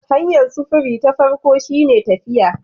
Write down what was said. Hanyar sufuri ta farko shine tafiya